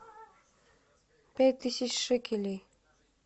пять тысяч шекелей